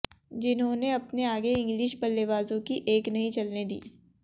जिन्होंने अपने आगे इंग्लिश बल्लेबाजों की एक नहीं चलने दी